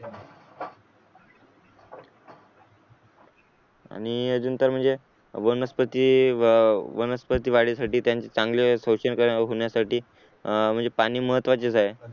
आणि अजून तर म्हणजे वनस्पती वनस्पती वाढीसाठी चांगले शोषण होण्यासाठी म्हणजे अं पाणी महत्त्वाचे आहे.